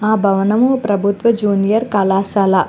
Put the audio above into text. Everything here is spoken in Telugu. హా భవనము ప్రబువ్తవ జూనియర్ కళాశాల.